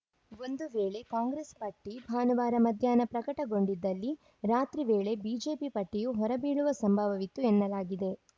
ಒಂದು ವೇಳೆ ಕಾಂಗ್ರೆಸ್‌ ಪಟ್ಟಿಭಾನುವಾರ ಮಧ್ಯಾಹ್ನ ಪ್ರಕಟಗೊಂಡಿದ್ದಲ್ಲಿ ರಾತ್ರಿ ವೇಳೆ ಬಿಜೆಪಿ ಪಟ್ಟಿಯೂ ಹೊರಬೀಳುವ ಸಂಭವವಿತ್ತು ಎನ್ನಲಾಗಿದೆ